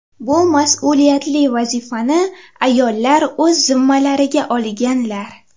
Bu mas’uliyatli vazifani ayollar o‘z zimmalariga olganlar.